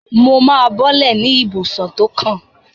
Mo máa bọ́lẹ̀ ní ibùsọ̀ tó kàn.